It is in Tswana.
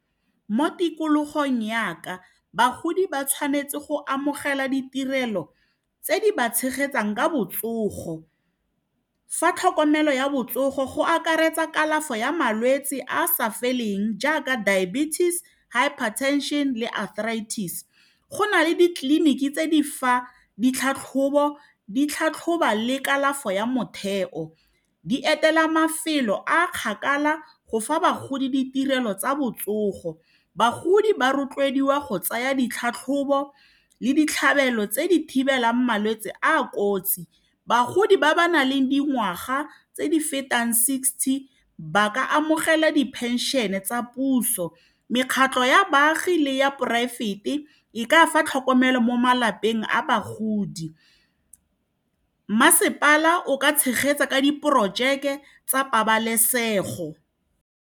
Mo tikologong yaka bagodi ba tshwanetse go amogela ditirelo tse di ba tshegetsang ka botsogo fa tlhokomelo ya botsogo go akaretsa kalafo ya malwetse a a sa feleng jaaka diabetes, hypertension le arthritis go na le ditleliniki tse di fa ditlhatlhobo di tlhatlhoba le kalafo ya motheo di etela mafelo a a kgakala go fa bagodi ditirelo tsa botsogo, bagodi ba rotloediwa go tsaya ditlhatlhobo le ditlhabelo tse di thibelang malwetse a a kotsi bagodi ba ba nang le dingwaga tse di fetang sixty ba ka amogela diphenšene tsa puso mekgatlo ya baagi le ya poraefete e ka fa tlhokomelo mo malapeng a bagodi masepala o ka tshegetsa ka diporojeke tsa pabalesego.